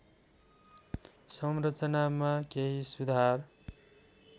संरचनामा केही सुधार